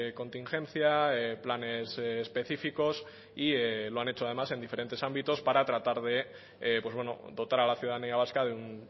contingencia planes específicos y lo han hecho además en diferentes ámbitos para tratar de dotar a la ciudadanía vasca de un